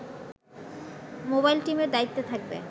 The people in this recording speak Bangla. মোবাইল টিমের দায়িত্বে থাকবে